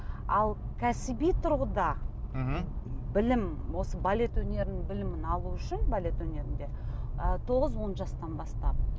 ал кәсіби тұрғыда мхм білім осы балет өнерінің білімін алу үшін балет өнерінде ы тоғыз он жастан бастап